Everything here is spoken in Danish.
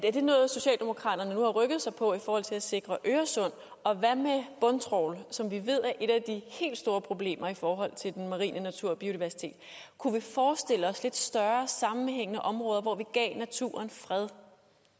er det noget socialdemokraterne nu har rykket sig på i forhold til at sikre øresund og hvad med bundtrawl som vi ved er et af de helt store problemer i forhold til den marine natur og biodiversitet kunne vi forestille os lidt større sammenhængende områder hvor vi gav naturen fred